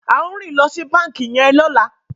ao rìn lo si banki yen lola.